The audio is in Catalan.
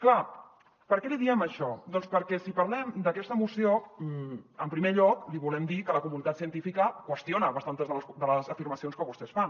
clar per què li diem això doncs perquè si parlem d’aquesta moció en primer lloc li volem dir que la comunitat científica qüestiona bastantes de les afirmacions que vostès fan